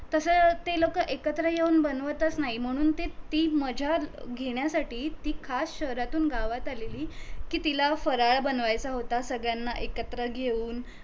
तस ते लोक एकत्र येऊन बनवतच नाही म्हणून ते ती मज्जा घेण्यासाठी ती खास शहरातून गावात आलेली कि तिला फराळ बनवायचा होता सगळ्याना एकत्र घेऊन